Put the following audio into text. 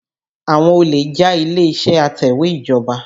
Àwọn olè já ilé-ìṣẹ́ atẹ̀wẹ́ ìjọba.